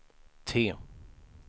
T